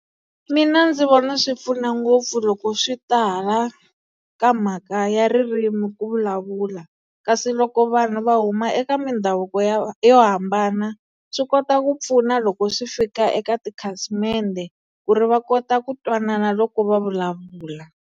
Mina ndzi vona swi pfuna ngopfu loko swi ta hala ka mhaka ya ririmi ku vulavula. Kasi loko vanhu va huma eka mindhavuko ya yo hambana, swi kota ku pfuna loko swi fika eka tikhasimende ku ri va kota ku twanana loko va vulavula.